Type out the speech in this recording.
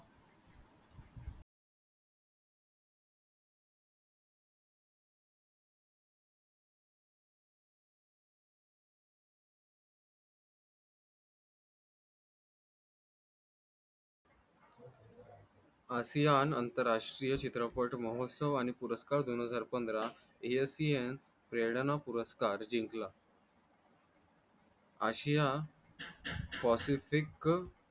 आशिया नंतर आशिया चित्रपट महोत्सव आणि पुरस्कार दोन हजार पंधरा प्रेरणा पुरस्कार जिंकला आशिया